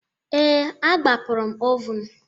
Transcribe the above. Ee, agbapụrụ m oven